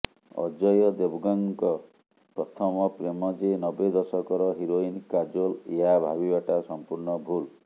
ଅଜୟ ଦେବଗନ୍ଙ୍କ ପ୍ରଥମ ପ୍ରେମ ଯେ ନବେ ଦଶକର ହିରୋଇନ୍ କାଜୋଲ୍ ଏହା ଭାବିବାଟା ସଂପୂର୍ଣ୍ଣ ଭୁଲ୍